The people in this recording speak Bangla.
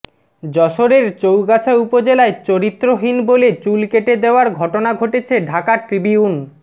যশোরের চৌগাছা উপজেলায় চরিত্রহীন বলে চুল কেটে দেওয়ার ঘটনা ঘটেছে ঢাকা ট্রিবিউন